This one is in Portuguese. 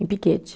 Em Piquete.